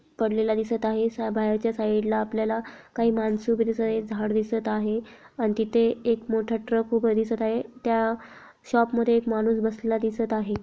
पडलेला दिसत आहे बहरच्या साइडला आपल्याला काही माणसे उभी दिसत आहे झाड दिसत आहे आणि तिथे एक मोठा ट्रक उभा दिसत आहे त्या शॉप मधे एक माणूस बसलेला दिसत आहे.